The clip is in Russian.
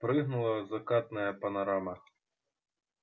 прыгнула закатная панорама